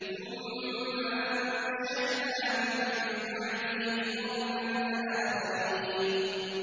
ثُمَّ أَنشَأْنَا مِن بَعْدِهِمْ قَرْنًا آخَرِينَ